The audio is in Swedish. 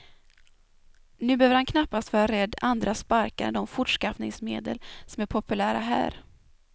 Nu behöver han knappast vara rädd andra sparkar än de fortskaffningsmedel som är populära här.